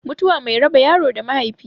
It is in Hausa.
Mutuwa mai raba yaro da mahaifi